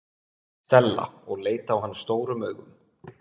Stella og leit á hann stórum augum.